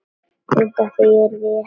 Undan því yrði ekki komist.